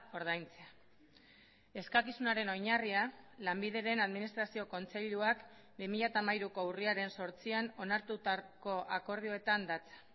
ordaintzea eskakizunaren oinarria lanbideren administrazio kontseiluak bi mila hamairuko urriaren zortzian onartutako akordioetan datza